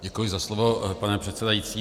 Děkuji za slovo, pane předsedající.